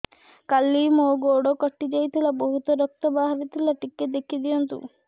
କାଲି ମୋ ଗୋଡ଼ କଟି ଯାଇଥିଲା ବହୁତ ରକ୍ତ ବାହାରି ଥିଲା ଟିକେ ଦେଖି ଦିଅନ୍ତୁ